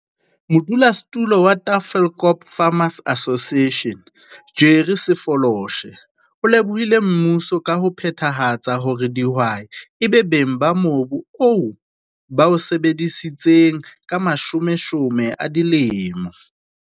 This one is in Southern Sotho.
Modulosetulo wa Tafelkop Farmers Association, Jerry Sefoloshe, o lebohile mmuso ka ho phethahatsa hore dihwai e be beng ba mobu oo ba o sebeditseng ka mashomeshome a dilemo.